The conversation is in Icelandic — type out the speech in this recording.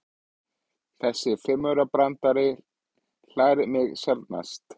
Þessi fimmaurabrandari hlægir mig sjaldnast.